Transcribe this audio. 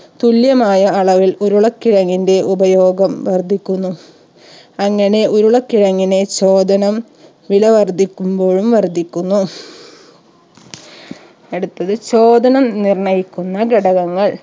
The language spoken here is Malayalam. തുല്യമായ അളവിൽ ഉരുളക്കിഴങ്ങിന്റെ ഉപയോഗം വർധിക്കുന്നു അങ്ങനെ ഉരുളക്കിഴങ്ങിനെ ചോദനം വില വർധിക്കുമ്പോഴും വർധിക്കുന്നു അടുത്തത് ചോദനം നിർണയിക്കുന്ന ഘടകങ്ങൾ